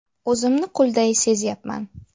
O‘zimni qulday sezyapman.